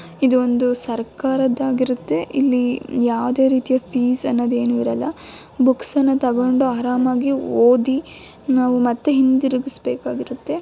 ಇದು ಒಂದು ಸರ್ಕಾರದ್ ಆಗಿರುತ್ತೆ. ಇಲ್ಲಿ ಯಾವುದೇ ರೀತಿಯ ಫೀಸ್ ಅನ್ನೋದು ಏನು ಇರಲ್ಲ ಬುಕ್ಸ್ ನ ತಗೊಂಡು ಆರಾಮಾಗಿ ಓದಿ ನಾವು ಮತ್ತೆ ಹಿಂದಿರುಗಿಸಬೇಕಾಗಿರುತ್ತೆ.